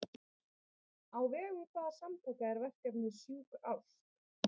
Á vegum hvaða samtaka er verkefnið Sjúk ást?